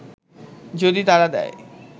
যদি তারা দেয়